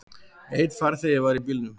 Einn farþegi var í bílnum.